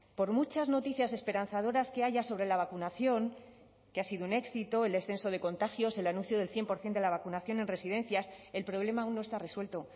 por muchas noticias esperanzadoras que haya sobre la vacunación que ha sido un éxito el descenso de contagios el anuncio del cien por ciento de la vacunación en residencias el problema aún no está resuelto